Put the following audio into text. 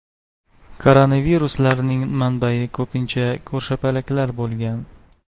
Koronaviruslarning manbai ko‘pincha ko‘rshapalaklar bo‘lgan.